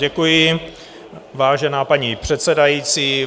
Děkuji, vážená paní předsedající.